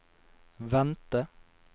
vente